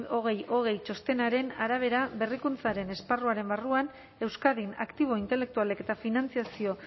eis bi mila hogei txostenaren arabera berrikuntzaren esparruaren barruan euskadin aktibo intelektualek eta finantziazio